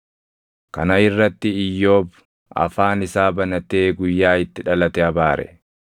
Kana irratti Iyyoob afaan isaa banatee guyyaa itti dhalate abaare.